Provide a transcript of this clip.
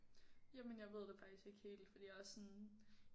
Jamen jeg ved det faktisk ikke helt fordi jeg er også sådan